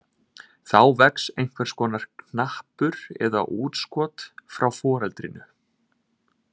Þá vex einhvers konar knappur eða útskot frá foreldrinu.